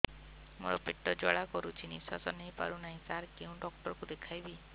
ମୋର ପେଟ ଜ୍ୱାଳା କରୁଛି ନିଶ୍ୱାସ ନେଇ ପାରୁନାହିଁ ସାର କେଉଁ ଡକ୍ଟର କୁ ଦେଖାଇବି